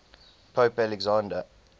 pope alexander